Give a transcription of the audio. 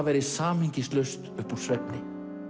væri samhengislaust upp úr svefni